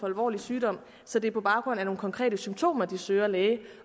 alvorlig sygdom så det er på baggrund af nogle konkrete symptomer at de søger læge